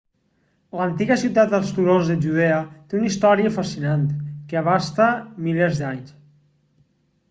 l'antiga ciutat als turons de judea té una història fascinant que abasta milers d'anys